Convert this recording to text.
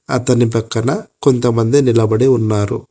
అతని పక్కన కొంతమంది నిలబడి ఉన్నారు.